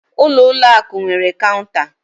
Ụlọ ụlọ akụ nwere cọunta.